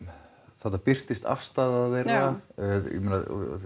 þarna birtist afstaða þeirra ég meina